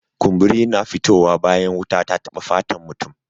Kumburi na fito wa bayan wuta ta taba fatan mutum.